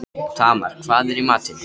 Tamar, hvað er í matinn?